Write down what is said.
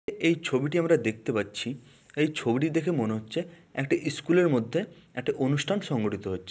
এই ছবিটি আমরা দেখতে পাচ্ছি। এই ছবিটি দেখে মনে হচ্ছে একটা ইস্কুলের মধ্যে একটা অনুষ্ঠান সংগঠিত হচ্ছে।